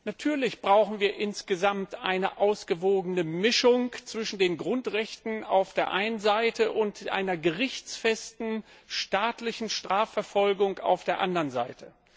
Natürlich brauchen wir insgesamt eine ausgewogene Mischung aus Grundrechten auf der einen Seite und einer gerichtsfesten, staatlichen Strafverfolgung auf der anderen Seite.